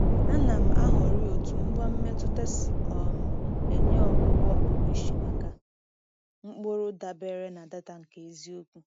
A na m ahọrị otú ngwa mmetụta si um enye ọgwụgwọ pụrụ iche maka mkpụrụ dabere na data nke eziokwu.